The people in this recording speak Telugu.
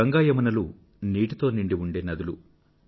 గంగా యమునలు నీటితో నిండి ఉండే నదులు